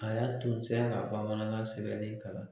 A y'a tu o se la ka bamanankan sɛbɛnen kalan.